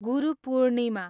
Guru Purnima